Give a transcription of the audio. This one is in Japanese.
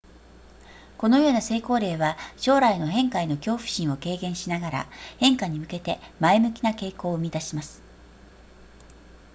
このような成功例は将来の変化への恐怖心を軽減しながら変化に向けて前向きな傾向を生み出します